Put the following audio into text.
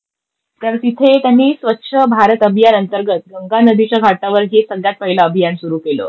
तर तिथे त्यांनी स्वच्छ भारत अभियान अंतर्गत गंगा नदीच्या काठावर हे सगळ्यात पहिलं अभियान सुरू केलं होतं.